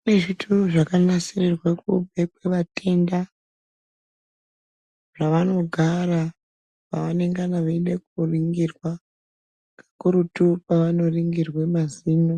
Kune zvituru zvakanasirirwe kubekwe vatenda, zvavanogara pavanengana veide kuringirwa kakurutu pavanoringirwa mazino